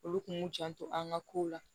Olu kun k'u janto an ŋa ko la